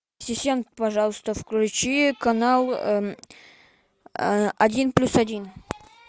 ассистент пожалуйста включи канал один плюс один